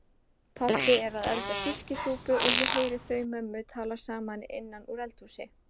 Pabbi er að elda fiskisúpu og ég heyri þau mömmu tala saman innan úr eldhúsi.